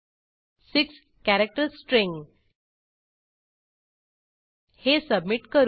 6 character string हे submit करू